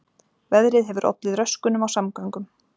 Veðrið hefur ollið röskunum á samgöngum